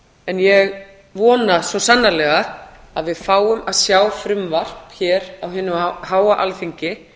en ég vona svo sannarlega að við fáum að sjá frumvarp hér á hinu háa alþingi